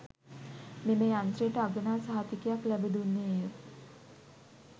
මෙම යන්ත්‍රයට අගනා සහතිකයක් ලැබ දුන්නේය